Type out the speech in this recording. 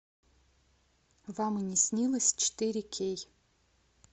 вам и не снилось четыре кей